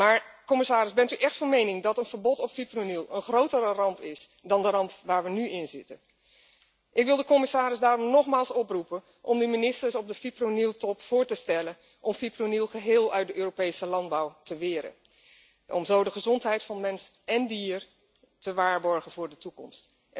Maar, commissaris, bent u echt van mening dat een verbod op fipronil een grotere ramp is dan de ramp waar we nu inzitten? Ik wil de commissaris daarom nogmaals oproepen om aan de ministers op de fiproniltop voor te stellen om fipronil geheel uit de Europese landbouw te weren om zo de gezondheid van mens èn dier te waarborgen voor de toekomst.